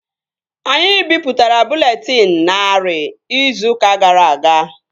Anyị bipụtara bụleetịn narị izu ụka gara aga